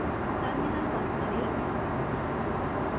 terminal बंद करें